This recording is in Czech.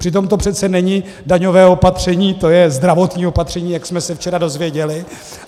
Přitom to přece není daňové opatření, to je zdravotní opatření, jak jsme se včera dozvěděli.